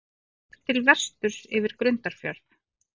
Horft til vesturs yfir Grundarfjörð.